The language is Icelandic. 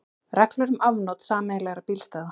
Reglur um afnot sameiginlegra bílastæða.